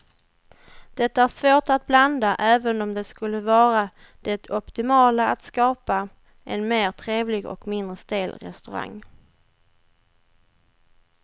Det är svårt att blanda även om det skulle vara det optimala att skapa en mer trevlig och mindre stel restaurang.